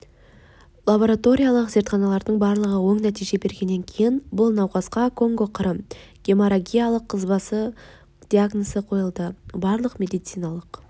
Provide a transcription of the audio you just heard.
лабораториялық зертханалардың барлығы оң нәтиже бергеннен кейін бұл науқасқа конго-қырым геморрагиялық қызбасы диагнозы қойылды барлық медициналық